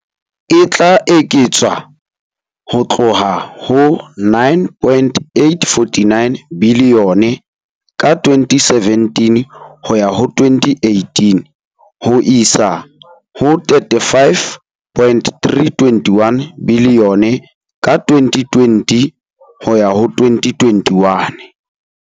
E tla eketswa ho tloha ho R9.849 biliyone ka 2017-18 ho isa ho R35.321 biliyone ka 2020-21.